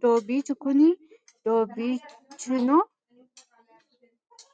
Doobicho kuni doobichino